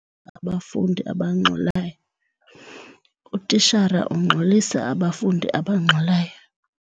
abafundi abangxolayo. Utitshala ungxolisa abafundi abangxolayo.